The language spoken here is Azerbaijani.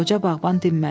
Qoca bağban dinmədi.